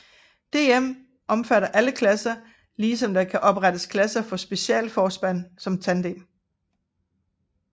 DM omfatter alle klasser lige som der kan oprettes klasser for specialforspand som tandem